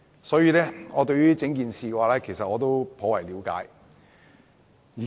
所以，我對整件事頗為了解。